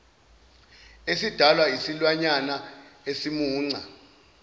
esidalwa isilwanyana esimunca